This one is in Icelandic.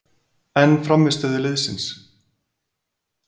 En frammistöðu liðsins?